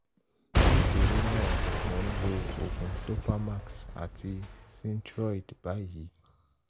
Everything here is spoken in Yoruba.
nítorí náà mò n lo òògùn topamax àti synthroid báyìí